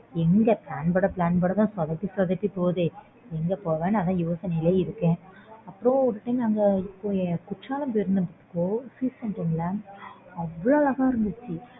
எங்க plan போடா plan போடத்தான் சொதப்பி சொதப்பி போகுதெ எங்க போலாம்ன்னு அதான் யோசனைலயே இருக்கன் ஒரு time குற்றாலம் போயிருந்தேன் அவ்ளோ அழகா இருந்துச்சு